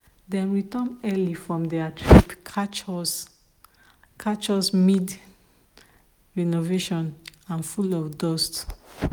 dem return early from their trip catch us catch us mid-renovation and full of dust.